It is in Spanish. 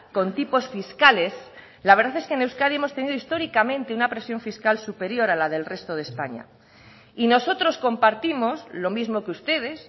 con tipos fiscales la verdad es que en euskadi hemos tenido históricamente una presión fiscal superior a la del resto de españa y nosotros compartimos lo mismo que ustedes